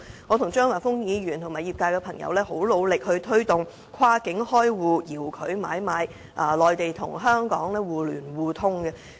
我與張華峰議員和業界朋友也很努力地推動跨境開戶、遙距買賣，以及內地與香港互聯互通。